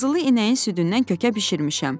“Qızılı inəyin südündən kökə bişirmişəm.”